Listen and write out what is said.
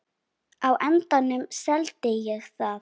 Á endanum seldi ég það.